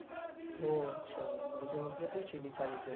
ও আচ্ছা তাহলে জঙ্গিপুরে তুই ছিলি কাজের জন্য?